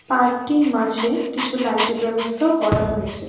পার্কটির মাঝে কিছু লাইটের ব্যবস্থাও করা হয়েছে।